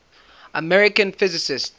american physicists